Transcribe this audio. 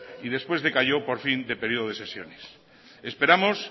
y después decayó por fin del periodo de sesiones esperamos